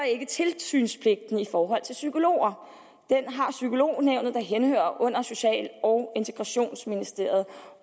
ikke tilsynspligten i forhold til psykologer den har psykolognævnet der henhører under social og integrationsministeriet